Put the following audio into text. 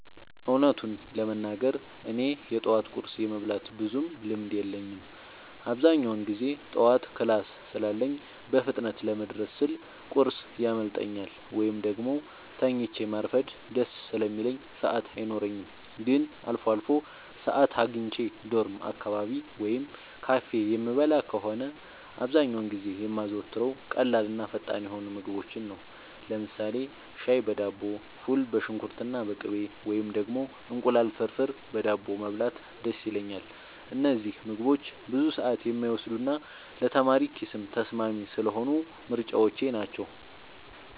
እውነቱን ለመናገር እኔ የጠዋት ቁርስ የመብላት ብዙም ልምድ የለኝም። አብዛኛውን ጊዜ ጠዋት ክላስ ስላለኝ በፍጥነት ለመድረስ ስል ቁርስ ያመልጠኛል፤ ወይም ደግሞ ተኝቶ ማርፈድ ደስ ስለሚለኝ ሰዓት አይኖረኝም። ግን አልፎ አልፎ ሰዓት አግኝቼ ዶርም አካባቢ ወይም ካፌ የምበላ ከሆነ፣ አብዛኛውን ጊዜ የማዘወትረው ቀላልና ፈጣን የሆኑ ምግቦችን ነው። ለምሳሌ ሻይ በዳቦ፣ ፉል በሽንኩርትና በቅቤ፣ ወይም ደግሞ እንቁላል ፍርፍር በዳቦ መብላት ደስ ይለኛል። እነዚህ ምግቦች ብዙ ሰዓት የማይወስዱና ለተማሪ ኪስም ተስማሚ ስለሆኑ ምርጫዎቼ ናቸው።